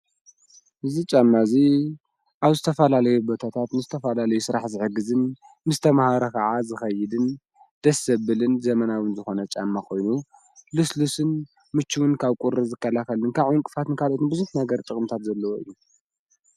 እዝ ጫመእዙይ ኣብ ስተፋላለዮ በታታት ምስተፍላለይ ሥራሕ ዝሕግዝን ምስ ተመሃረ ኸዓ ዝኸይድን ደሰብልን ዘመናውን ዝኾነ ጫመኾይኑ ልስልስን ምችውን ካብ ቊሪ ዝከላኸልን ካቝንቅፋት ንካልኦትን ብዙት ነገር ጥቕምታት ዘለዎ እዩ።